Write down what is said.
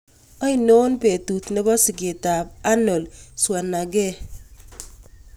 Ainon betut ne po sigetap Arnold Scwarznegger